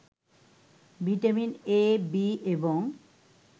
vitamin ‘A’ ‘B’ এবং